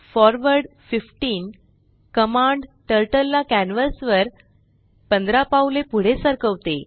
forward 15 command turtle ला canvas वर 15पाऊले पुढे सरकवते